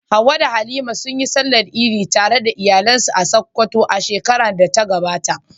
Hawwa da Halima sun yi Sallar Idi tare da iyalansu a Sakkwato a shekarar da ta gabata.